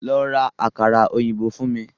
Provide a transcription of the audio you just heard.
Lọ́ rá àkàrà òyìnbó fún mí!